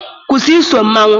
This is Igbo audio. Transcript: Kwụsị iso mmanwụ!